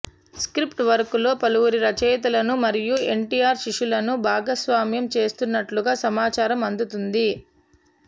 script వర్క్లో పలువురు రచయితలను మరియు ఎన్టీఆర్ శిష్యులను భాగస్వామ్యం చేస్తున్నట్లుగా సమాచారం అందుతుంది